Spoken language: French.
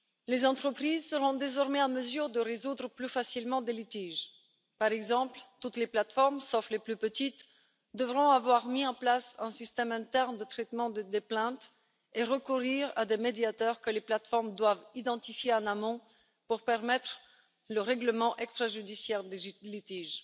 Les entreprises seront désormais en mesure de résoudre plus facilement les litiges par exemple, toutes les plateformes, sauf les plus petites, devront avoir mis en place un système interne de traitement des plaintes et recourir à des médiateurs que les plateformes doivent identifier en amont pour permettre le règlement extrajudiciaire des litiges.